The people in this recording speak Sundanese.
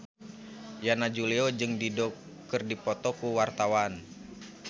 Yana Julio jeung Dido keur dipoto ku wartawan